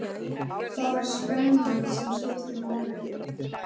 Það var spennan sem skipti máli.